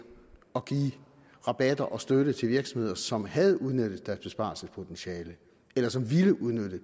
og give rabatter og støtte til virksomheder som havde udnyttet deres besparelsespotentiale eller som ville udnytte